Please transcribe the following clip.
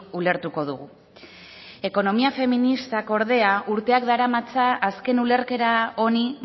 ulertuko dugu ekonomia feministak ordea urteak daramatza azken ulerkera honi